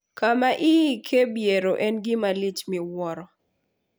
Kama iike biero en gima lich miwuoro.